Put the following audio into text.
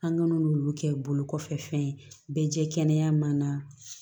An ŋ'olu kɛ bolo kɔfɛ fɛn ye bɛ jɛ kɛnɛya ma